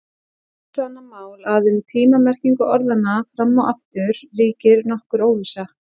Hitt er svo annað mál að um tíma-merkingu orðanna fram og aftur ríkir nokkur óvissa.